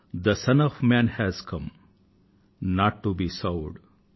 తే son of man has come not to be served